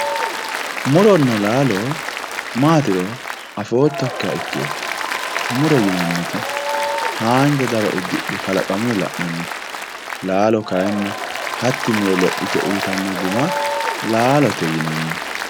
Muronna lalo matiro afotokiri muto yinaniti hanja daro udidhinoti kalaqamuyi lanayitte lalo kayinni hati miro lopite uyitano guma lalote yinanni